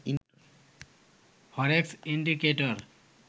forex indicator